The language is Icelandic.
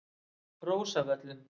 Rósavöllum